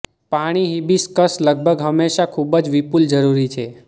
પાણી હિબિસ્કસ લગભગ હંમેશા ખૂબ જ વિપુલ જરૂરી છે